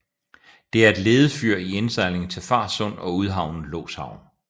Det er et ledefyr i indsejlingen til Farsund og udhavnen Loshavn